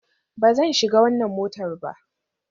Ba zan shiga wannan motar ba